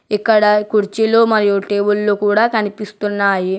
ఇక్కడ కుర్చీలు మరియు టేబుల్లూ కూడా కనిపిస్తున్నాయి.